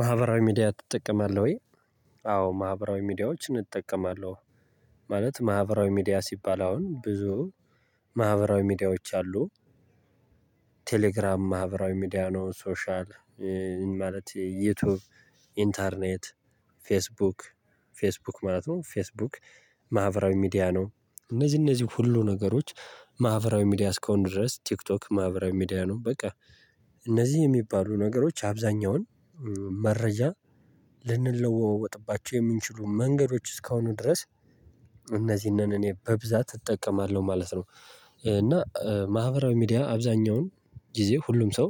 ማህበራዊ ሚዲያ ትጠቀማለህ ወይ? አዎ ማህበራዊ ሚዲያዎችን እጠቀማለሁ። ማለት ማህበራዊ ሚዲያ ሲባል አሁን ብዙ ማህበራዊ ሚዲያዎች አሉ። ቴሌግራም ማህበራዊ ሚዲያ ነው። ሶሻል ማለት ዩቲዩብ ኢንተርኔት ፌስቡክ ፌስቡክ ማለት ነው። ፌስቡክ ማህበራዊ ሚዲያ ነው። እነዚህ እነዚህ ሁሉ ነገሮች ማህበራዊ ሚዲያ አስከውን ድረስ ቲክቶክ ማህበራዊ ሚዲያ ነው። በቃ እነዚህ የሚባሉ ነገሮች አብዛኛውን መረጃ ልንለወወጥባቸው የምንችሉ መንገዶች እስካሁኑ ድረስ እነዚህን እኔ በብዛት እጠቀማለሁ ማለት ነው። እና ማህበራዊ ሚዲያ አብዛኛውን ጊዜ ሁሉም ሰው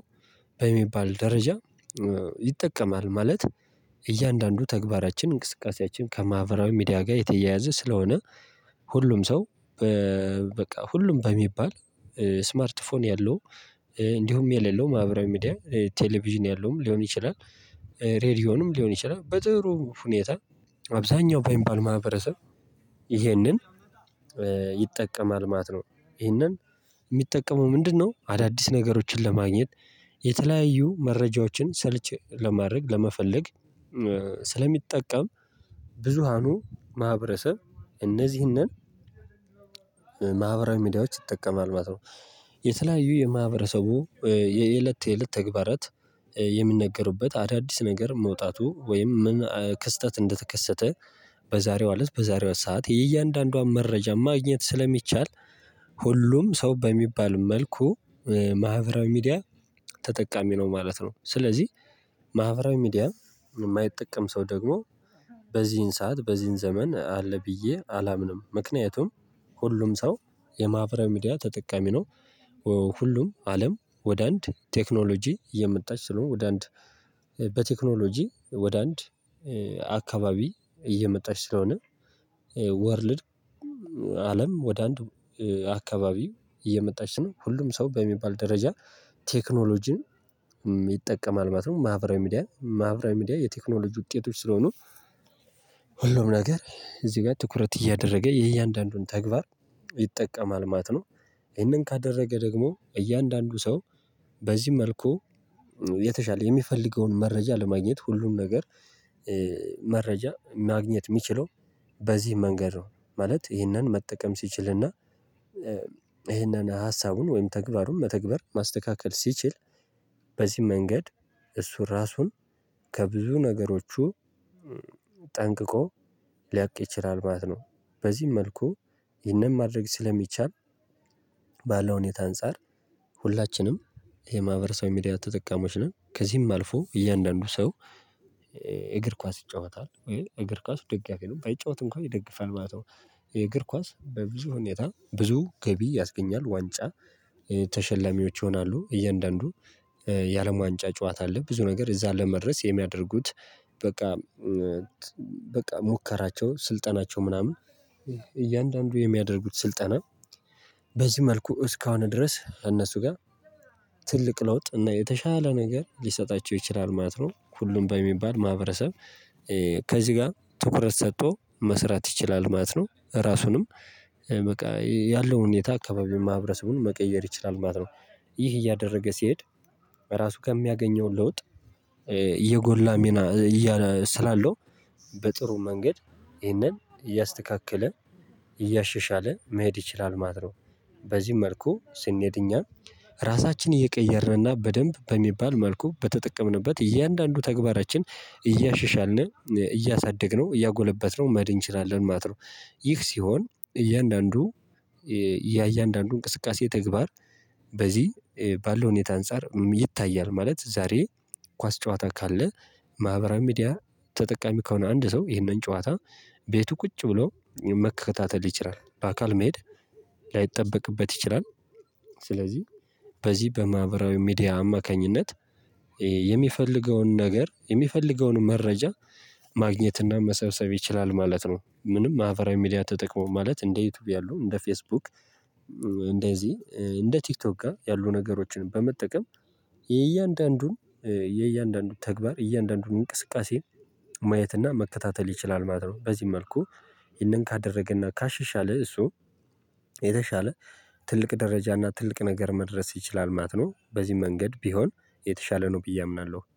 በሚባል ደረጃ ይጠቀማል ማለት እያንዳንዱ ተግባራችን እንቅስቃሴያችን ከማህበራዊ ሚዲያ ጋር የተያያዘ ስለሆነ። ሁሉም ሰው በ በቃ ሁሉም በሚባል ስማርት ስልክ ያለው እንዲሁም የሌለው ማህበራዊ ሚዲያ ቴሌቪዥን ያለውም ሊሆን ይችላል። ሬድዮንም ሊሆን ይችላል በጥሩ ሁኔታ አብዛኛው በኢምባል ማህበረሰብ ይህንን ይጠቀማል ማለት ነው። ይህንን የሚጠቀመው ምንድነው? አዳዲስ ነገሮችን ለማግኘት የተለያዩ መረጃዎችን ሰልች ለማድረግ ለመፈለግ ስለሚጠቀም። ብዙሃኑ ማህበረሰብ እነዚህንን ማህበራዊ ሚዲያዎች ይጠቀማል ማለት ነው። የተለያዩ የማህበረሰቡ የእለት የእለት ተግባራት የምንነገሩበት አዳዲስ ነገር መውጣቱ ወይም ምን ክስተት እንደተከሰተ በዛሬው አለት በዛሬው ሰዓት የእያንዳንዷን መረጃ ማግኘት ስለሚቻል ሁሉም ሰው በሚባል መልኩ ማህበራዊ ሚዲያ ተጠቃሚ ነው ማለት ነው። ስለዚህ ማህበራዊ ሚዲያ የማይጠቀም ሰው ደግሞ በዚህን ሰዓት በዚህን ዘመን አለ ብዬ አላምንም። ምክንያቱም ሁሉም ሰው የማህፈራዊ ሚዲያ ተጠቃሚ ነው። ሁሉም አለም ወደ አንድ ቴክኖሎጂ የመጣች ስለሆነ ወደ አንድ በቴክኖሎጂ ወደ አንድ አካባቢ እየመጣች ስለሆነ ወርልድ አለም ወደ አንድ አካባቢው እየመጣች ነው ሁሉም ሰው በሚባል ደረጃ ቴክኖሎጂን ይጠቀማል ማለት ነው። ማህበራዊ ሚዲያ ማህበራዊ ሚዲያ የቴክኖሎጂ ውጤቶች ስለሆኑ ሁሉም ነገር እዚህ ጋር ትኩረት እያደረገ የእያንዳንዱን ተግባር ይጠቀማል ማለት ነው። ይሄንን ካደረገ ደግሞ እያንዳንዱ ሰው በዚህ መልኩ የተሻለ የሚፈልገውን መረጃ ለማግኘት ሁሉም ነገር መረጃ ማግኘት የሚችለው በዚህ መንገድ ነው። ማለት ይህንን መጠቀም ሲችልና ይህንን ሀሳቡን ወይም ተግባሩን መተግበር ማስተካከል ሲችል በዚህ መንገድ እሱ ራሱን ከብዙ ነገሮቹ ጠንቅቆ ሊያቅ ይችላል ማለት ነው። በዚህም መልኩ የነማድረግ ስለሚቻል ባለው ሁኔታ አንፃር ሁላችንም የማህበረሰቡ ሚዲያ ተጠቃሚዎች ነን። ከዚህም አልፎ እያንዳንዱ ሰው የእግር ኳስ ይጫወታል ወይ የእግር ኳስ ደጋፊ ነው ባይጫወት እንኳን ይደግፋል ማለት ነው። የእግር ኳስ በብዙ ሁኔታ ብዙ ገቢ ያስገኛል ዋንጫ ተሸለሚዎች ይሆናሉ እያንዳንዱ የአለም ዋንጫ ጨዋታ አለ ብዙ ነገር እዛን ለመድረስ የሚያደርጉት በቃ በቃ ሙከራቸው ስልጠናቸው ምናምን እያንዳንዱ የሚያደርጉት ስልጠና በዚህ መልኩ እስካሁን ድረስ እነሱ ጋር ትልቅ ለውጥ እና የተሻለ ነገር ሊሰጣቸው ይችላል ማለት ነው። ሁሉም በሚባል ማህበረሰብ ከዚህ ጋር ትኩረት ሰጥቶ መስራት ይችላል ማለት ነው። ራሱንም በቃ ያለው ሁኔታ አካባቢ ማህበረሰቡን መቀየር ይችላል ማለት ነው። ይህ እያደረገ ሲሄድ በራሱ ከሚያገኘው ለውጥ እየጎላ ስላለው በጥሩ መንገድ ይህንን እያስተካከለ እያሸሻለ መሄድ ይችላል ማለት ነው። በዚህ መልኩ ስንሄድ እኛ ራሳችን እየቀየረና በደንብ በሚባል መልኩ በተጠቀምንበት እያንዳንዱ ተግባራችን እያሸሻልን እያሳደግነው እያጎለበትነው መድን እንችላለን ማለት ነው። ይህ ሲሆን እያንዳንዱ ያ እያንዳንዱ እንቅስቃሴ ተግባር በዚህ ባለው ሁኔታ አንፃር ይታያል ማለት ዛሬ ኳስ ጨዋታ ካለ ማህበራዊ ሚዲያ ተጠቃሚ ከሆነ አንድ ሰው ይህንን ጨዋታ ቤቱ ቁጭ ብሎ መከታተል ይችላል። በአካል መሄድ ላይጠበቅበት ይችላል። ስለዚህ በዚህ በማህበራዊ ሚዲያ አማካኝነት የሚፈልገውን ነገር የሚፈልገውን መረጃ ማግኘትና መሰብሰብ ይችላል ማለት ነው። ምንም ማህፈራዊ ሚዲያ ተጠቅሞ ማለት እንደ ዩቲዩብ ያሉ እንደ ፌስቡክ እንደዚህ እንደ ቲክቶክ ጋር ያሉ ነገሮችን በመጠቀም የእያንዳንዱን የእያንዳንዱን ተግባር እያንዳንዱን እንቅስቃሴን ማየትና መከታተል ይችላል ማለት ነው። በዚህ መልኩ ይህንን ካደረገና ካሽሻለ እሱ የተሻለ ትልቅ ደረጃና ትልቅ ነገር መድረስ ይችላል ማት ነው። በዚህ መንገድ ቢሆን የተሻለ ነው ብዬ አምናለሁ